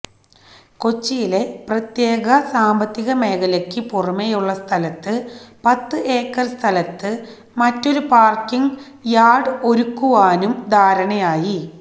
കൊച്ചിയിലെ പ്രത്യേക സാമ്പത്തിക മേഖലയ്ക്ക് പുറമേയുള്ള സ്ഥലത്ത് പത്ത് ഏക്കര് സ്ഥലത്ത് മറ്റൊരു പാര്ക്കിങ്ങ് യാര്ഡ് ഒരുക്കുവാനും ധാരണയായി